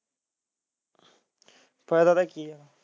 ਫਾਇਦਾ ਤਾਂ ਕੀ ਐ